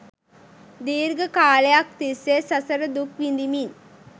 දීර්ඝ කාලයක් තිස්සේ සසර දුක් විඳිමින්